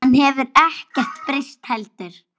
Hann hefur ekkert breyst heldur.